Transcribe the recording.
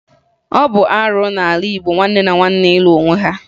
Ọ bụ arụ n'ala Igbo nwanne na nwanne ịlụ onwe ha